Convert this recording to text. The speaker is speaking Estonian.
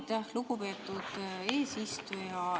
Aitäh, lugupeetud eesistuja!